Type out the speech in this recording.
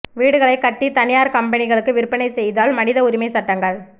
வீடுகளைக் கட்டி தனியார் கம்பனிகளுக்கு விற்பனை செய்தல் மனித உரிமை சட்டங்கள்